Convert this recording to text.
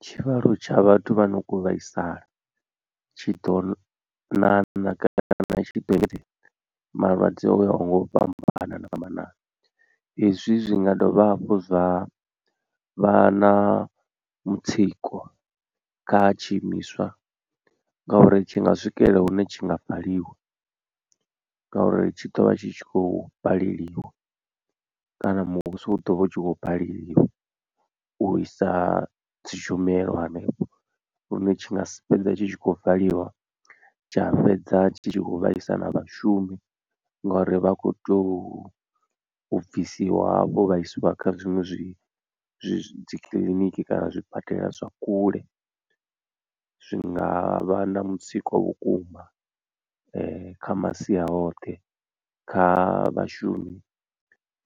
Tshivhalo tsha vhathu vha no kho vhaisala tshi ḓo ṋaṋa kana tshi ḓo engedza malwadze o ya ho nga u fhambana fhambanana ezwi zwi nga dovha hafhu zwa vha na mutsiko kha tshiimiswa ngauri tshi nga swikelela hune tshi nga valiwa. Ngauri tshi ḓo vha tshi khou baleliwa kana muvhuso u ḓo vha u tshi khou baleliwa u isa dzi tshumelo hanefho lune tshi nga si fhedza tshi tshi khou valiwa tsha fhedza tshi tshi khou vhaisa na vhashumi ngori vha khou tea u bvisiwa hafho vha isiwa kha zwiṅwe zwi zwi dzi kiḽiniki kana zwibadela zwa kule zwi nga vha na mutsiko vhukuma kha masia oṱhe kha vhashumi